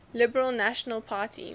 liberal national party